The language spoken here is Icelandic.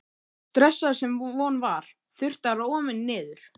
stressaður, sem von var, þurfti að róa mig niður.